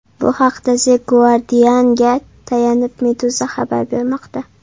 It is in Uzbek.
Bu haqda The Guardian’ga tayanib Meduza xabar bermoqda .